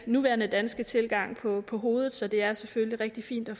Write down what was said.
nuværende danske tilgang på på hovedet så det er selvfølgelig rigtig fint at